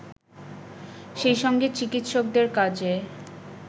সেইসঙ্গে চিকিৎসকদের কাজে